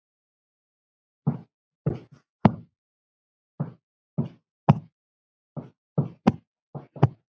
Ég get klappað þeim öllum.